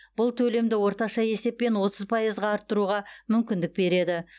бұл төлемді орташа есеппен отыз пайызға арттыруға мүмкіндік береді